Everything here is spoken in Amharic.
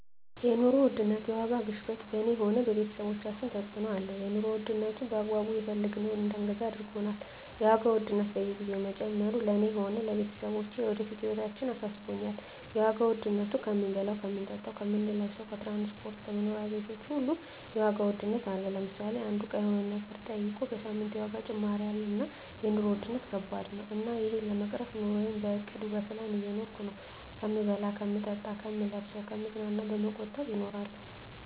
የኑሮ ውድነት የዋጋ ግሽበት በኔ ሆነ በቤተሰቦቻችን ተጽእኖ አለው የኑሮ ዉድነቱ በአግባቡ የፈለግነውን እዳንገዛ አርጎናል የዋጋ ውድነት በየግዜው መጨመሩ ለእኔ ሆነ ለቤተሰቦቸ ለወደፊት ህይወታችን አሳስቦኛል የዋጋ ዉድነቱ ከምንበላው ከምንጠጣው ከምንለብሰው ከትራንስፖርት ከመኖሪያ ቤቶች ሁሉ የዋጋ ውድነት አለ ለምሳሌ አንዱ እቃ ሆነ የሆነ ነገር ጠይቀ በሳምንት የዋጋ ጭማሪ አለ እና የኖሩ ዉድነት ከባድ ነው እና እሄን ለመቅረፍ ኑረየን በእቅድ በፕላን እየኖርኩ ነው ከምበላው ከምጠጣ ከምለብሰው ከምዝናናው በመቆጠብ እኖራለሁ